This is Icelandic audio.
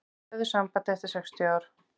Höfðu samband eftir sextíu ár